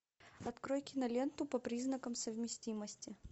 открой киноленту по признакам совместимости